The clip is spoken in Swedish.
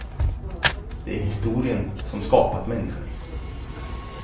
Det är historien som skapat människan.